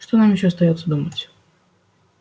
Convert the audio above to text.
что нам ещё остаётся думать